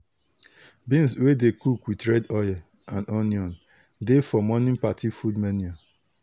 beans wey dey cook with red oil and onion dey for morning party food menu.